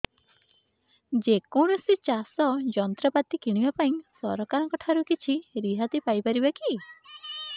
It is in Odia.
ଯେ କୌଣସି ଚାଷ ଯନ୍ତ୍ରପାତି କିଣିବା ପାଇଁ ସରକାରଙ୍କ ଠାରୁ କିଛି ରିହାତି ପାଇ ପାରିବା କି